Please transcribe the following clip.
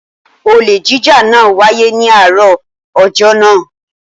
Olè jíjà náà wáyé ní àárọ̀ ọjọ́ náà.